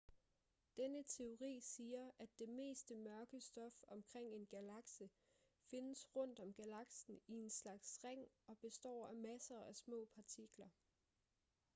denne teori siger at det meste mørke stof omkring en galakse findes rundt om galaksen i en slags ring og består af masser af små partikler